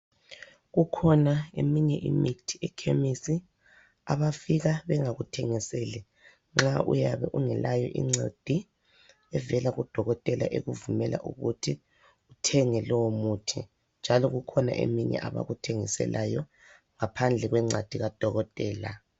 Kukhona eminye imithi ekhimisi abafika bengakuthengiseli nxa uyabe ungelayo incwadi evela kudokotela ekuvumela ukuthi uthenge lowo muthi njalo kukhona eminye abakuthengisela yona ngaphandle kwencwadi kadokotela